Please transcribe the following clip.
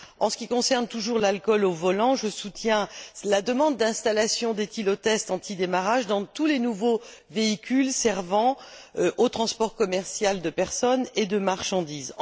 En ce qui concerne toujours l'alcool au volant, je soutiens la demande d'installation d'éthylotests anti démarrage dans tous les nouveaux véhicules servant au transport commercial de personnes et de marchandises.